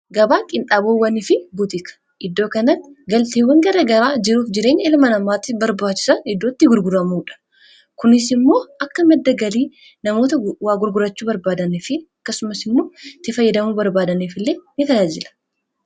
Gabaa qinxaaboowwanii fi butiika iddoo kanaatti galteewwan garagaraa jiruuf jireenya ilma namaatti barbaachisaan iddootti gurguraamuudha. Kuniis immoo akka maddaa galii namoota waa gurgurachuu barbaadaniif akkasumaas immoo itti fayyadamuu barbaadaniif illee ni tajaajilaa.